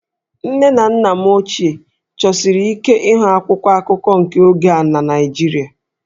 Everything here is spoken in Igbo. Nne na nna m ochie chọsiri ike ịhụ akwụkwọ akụkọ nke oge a na Naịjirịa